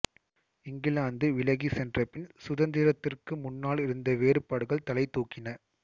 இங்கிலாந்து விலகிச் சென்றபின் சுதந்திரத்திற்கு முன்னாள் இருந்த வேறுபாடுகள் தலைதூக்கின